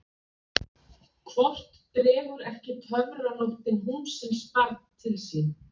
Hvort dregur ekki töfranóttin húmsins barn til sín?